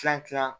Tila tila